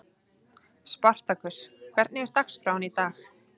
Spartakus, hvernig er dagskráin í dag?